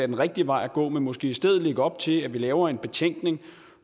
den rigtige vej at gå men måske i stedet lægge op til at vi laver en betænkning